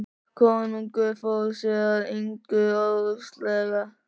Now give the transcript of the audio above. Konungur fór sér að engu óðslega.